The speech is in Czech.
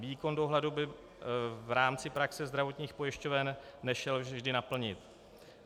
Výkon dohledu by v rámci praxe zdravotních pojišťoven nešel vždy naplnit.